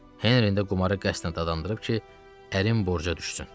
Henrini də qumara qəsdən dadandırıb ki, ərim borca düşsün.